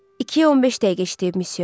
İkiyə 15 dəqiqə işləyib Missio.